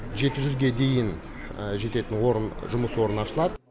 жеті жүзге дейін жететін орын жұмыс орны ашылады